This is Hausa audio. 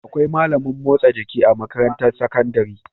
Akwai malamin motsa jiki a makarantar sakandari